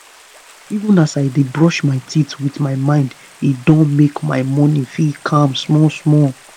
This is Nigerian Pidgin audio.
even as i dey brush my teeth with my mind e don make my mornings feel calm small small